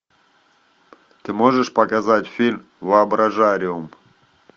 ты можешь показать фильм воображариум